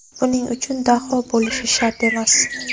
Buning uchun daho bo‘lishi shart emas.